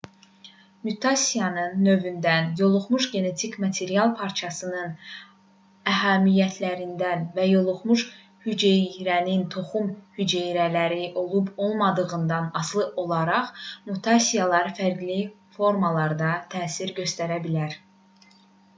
mutasiyanın növündən yoluxmuş genetik material parçasının əhəmiyyətindən və yoluxmuş hüceyrənin toxum hüceyrələri olub-olmamağından asılı olaraq mutasiyalar fərqli formalarda təsir göstərə bilər